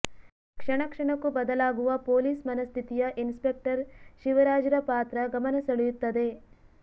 ಕ್ಷಣಕ್ಷಣಕ್ಕೂ ಬದಲಾಗುವ ಪೋಲೀಸ್ ಮನಸ್ಥಿತಿಯ ಇನ್ಸ್ಪೆಕ್ಟರ್ ಶಿವರಾಜ್ರ ಪಾತ್ರ ಗಮನ ಸೆಳೆಯುತ್ತದೆ